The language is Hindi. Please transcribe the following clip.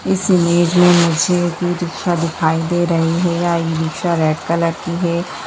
इस इमेज में मुझे ई-रिक्‍शा दिखाई दे रही है यह ई-रिक्‍शा रेड कलर की है।